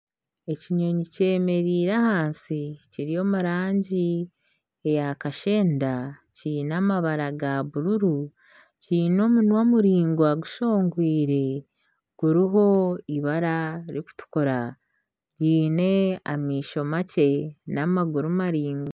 Ekinyonyi kyemereire ahansi kiri omu rangi eya kashenda kiine amabara ga bururu. Kiine omunwa muraingwa gushongwire guriho eibara ririkutukura kiine amaisho makye n'amaguru maraingwa.